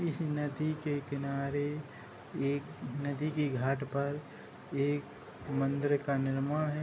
इस नदी के किनारे एक नदी के घाट पर एक मंदिर का निर्माण है।